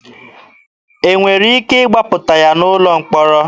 E nwere ike ịgbapụta ya n'ụlọ mkpọrọ?